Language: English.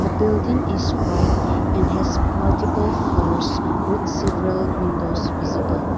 building is white and has multiple floors with several windows visible.